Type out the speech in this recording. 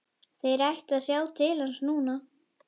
Þeir ættu að sjá til hans núna.